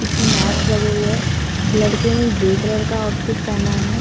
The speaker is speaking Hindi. पीछे मेट्स लगे हुए है लड़के ने ग्रे कलर का आउटफिट पेहना है।